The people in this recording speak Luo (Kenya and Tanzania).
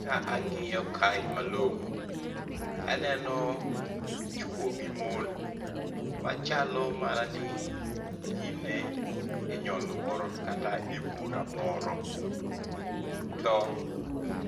Ka ang'iyo kae malong'o, taneno chwo gi mon, machalo mana ni gin e nyoluoro kata ebura moro. To